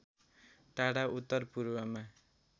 टाढा उत्तर पूर्वमा